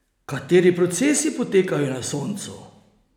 Kateri procesi potekajo na Soncu?